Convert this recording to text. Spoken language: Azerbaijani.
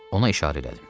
Ona işarə elədim.